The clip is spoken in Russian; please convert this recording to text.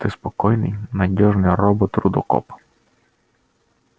ты спокойный надёжный робот-рудокоп